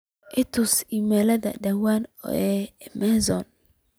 itusi iimalyada dhawaan ee amazon